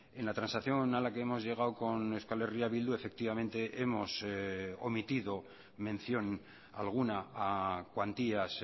en la transacción a la que hemos llegado con euskal herria bildu efectivamente hemos omitido mención alguna a cuantías